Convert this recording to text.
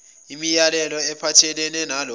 imilayelo ephathelene nalawo